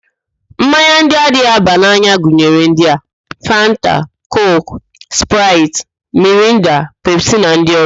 Mmanya ndị na-anaghị aba n'anya gụnyere ndị a: Fanta, Kooku, Spraịt, Mirinda, Pepsi na ndị ọzọ